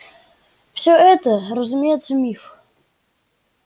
всё это разумеется миф